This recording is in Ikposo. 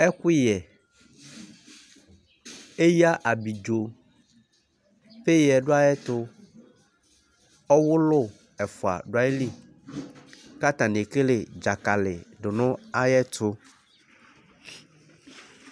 Ɛkuyɛ, eya abidzo, peya du ayi ɛtu, ɔwulu ɛfua du ayili k'atani ekele dzakali du nu ayi ɛtu